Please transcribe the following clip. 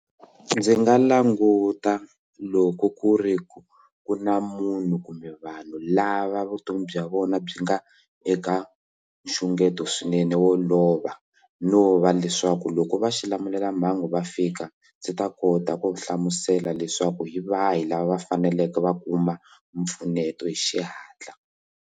Ndzi nga languta loko ku ri ku ku na munhu kumbe vanhu lava vutomi bya vona byi nga eka nxungeto swinene wo lova no va leswaku loko va xilamulelamhangu va fika ndzi ta kota ku hlamusela leswaku hi va hi lava va faneleke va kuma mpfuneto hi xihatla.